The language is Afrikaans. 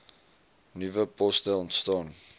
nuwe poste ontstaan